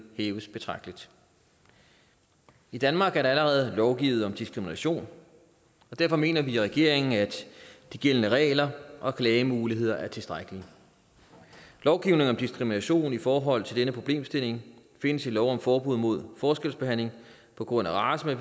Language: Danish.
hæves betragteligt i danmark er der allerede lovgivet om diskrimination og derfor mener vi i regeringen at de gældende regler og klagemuligheder er tilstrækkelige lovgivning om diskrimination i forhold til denne problemstilling findes i lov om forbud mod forskelsbehandling på grund af race